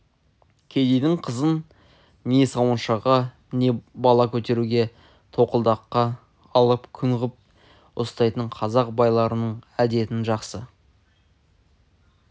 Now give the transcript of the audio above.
кедейдің қызын не сауыншыға не бала көтеруге тоқалдыққа алып күң ғып ұстайтын қазақ байларының әдетін жақсы